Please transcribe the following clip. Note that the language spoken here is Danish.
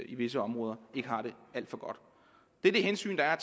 i visse områder det er det hensyn der er